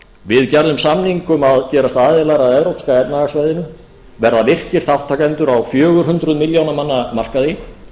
við gerðum samning um að gerast aðilar að evrópska efnahagssvæðinu verða virkir þátttakendur á fjögur hundruð milljóna manna markaði